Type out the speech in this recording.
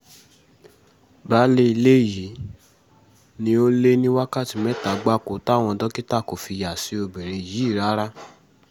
baálé ilé yìí ni ó lé ní wákàtí mẹ́ta gbáko táwọn dókítà kò fi yà sí obìnrin yìí rárá